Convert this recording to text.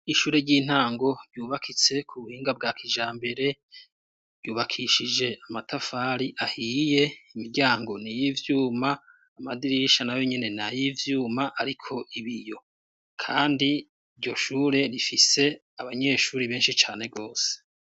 Ishure ry'intango ryubakitse ku buhinga bwa kijambere ,ryubakishije amatafari ahiye imiryango ni y'ivyuma amadirisha na yo nyine na yivyuma ariko ibiyo kandi iryoshure rifise abanyeshuri benshi cane rwose.